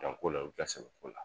ko la u kɛ sɛbɛ ko la